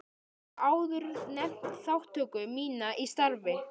Ég hef áður nefnt þátttöku mína í starfi